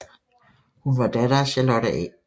Hun var datter af Charlotte A